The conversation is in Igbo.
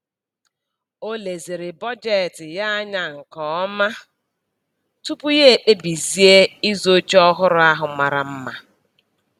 O leziri bọjetị ya anya nke ọma tupu ya ekpebizie ịzụ oche ọhụrụ ahụ mara mma.